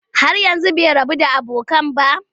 Har yanzu bai rabu da abokai ba?